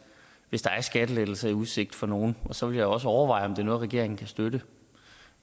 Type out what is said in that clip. hvis der er skattelettelser i udsigt for nogen og så vil jeg også overveje om det er noget regeringen kan støtte